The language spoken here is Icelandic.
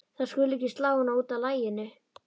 Þær skulu ekki slá hana út af laginu.